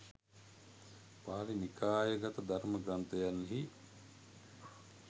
පාලි නිකායාගත ධර්ම ග්‍රන්ථයන්හි